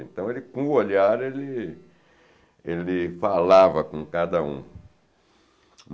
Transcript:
Então, ele, com o olhar, ele ele falava com cada um.